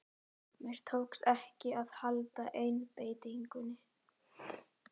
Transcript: Mér tókst ekki að halda einbeitingunni.